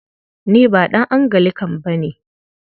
Ni ba ɗan Anglican ba ne.